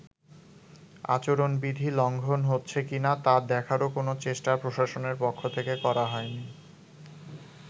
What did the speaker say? আচরণবিধি লঙ্ঘন হচ্ছে কিনা তা দেখারও কোনো চেষ্টা প্রশাসনের পক্ষ থেকে করা হয়নি।